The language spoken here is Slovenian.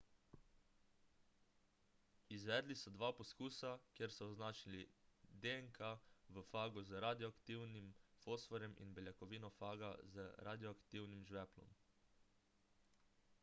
izvedli so dva poskusa kjer so označili dnk v fagu z radioaktivnim fosforjem ali beljakovino faga z radioaktivnim žveplom